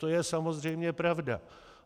To je samozřejmě pravda.